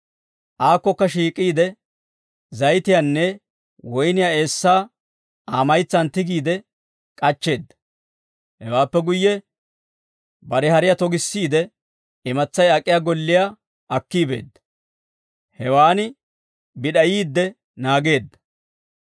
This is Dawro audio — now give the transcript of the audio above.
Aakkokka shiik'iide, zayitiyaanne woyniyaa eessaa Aa maytsaan tigiide, k'achcheedda. Hewaappe guyye bare hariyaa togissiide, imatsay ak'iyaa golliyaa akki beedda; hewaan bid'ayiidde naageedda.